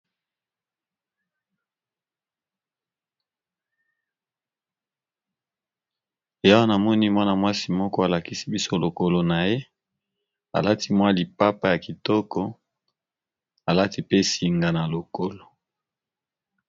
Awa namoni mwana-mwasi moko alakisi biso lokolo na ye alati mwa lipapa ya kitoko alati pe singa na lokolo.